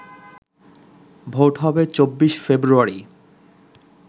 vote হবে ২৪ ফেব্রুয়ারি